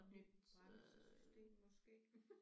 Nyt bremsesystem måske